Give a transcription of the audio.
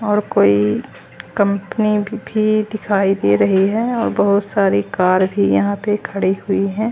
और कोई कंपनी भी दिखाई दे रही है और बहोत सारी कार भी यहां पे खड़ी हुई है।